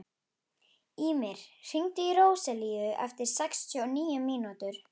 Ýmir, hringdu í Róselíu eftir sextíu og níu mínútur.